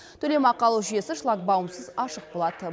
төлемақы алу жүйесі шлагбаумсыз ашық болады